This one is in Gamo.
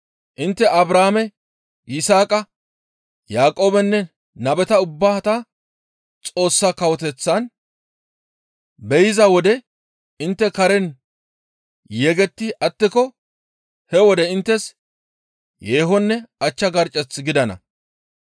«Intte Abrahaame, Yisaaqa, Yaaqoobenne nabeta ubbata Xoossa Kawoteththan be7iza wode intte karen yegetti attiko he wode inttes yeehonne achcha garccech gidana.